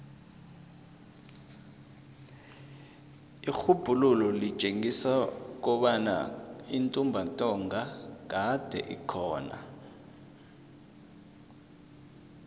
irhubhululo litjengisa kobana intumbantonga kade ikhona